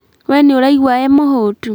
We nĩuraigua wĩ mũhũtu